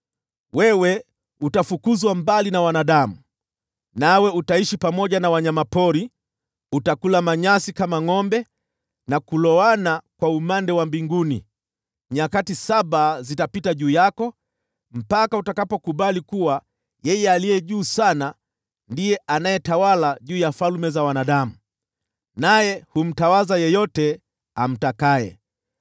Wewe utafukuzwa mbali na wanadamu, nawe utaishi pamoja na wanyama pori; utakula manyasi kama ngʼombe, na kuloana kwa umande wa mbinguni. Nyakati saba zitapita juu yako, mpaka utakapokubali kuwa Yeye Aliye Juu Sana ndiye anayetawala juu ya falme za wanadamu, naye humtawaza yeyote amtakaye.